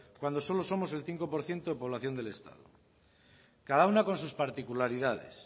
cuando solo somos el cinco por ciento de población del estado cada una con sus particularidades